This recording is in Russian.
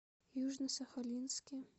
южно сахалинске